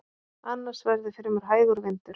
Annars verði fremur hægur vindur